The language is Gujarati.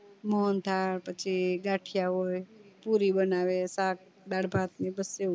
મોહન થળ પછી ગઠીયા હોય પૂરી બનાવે શાક દાળભાત ને બધું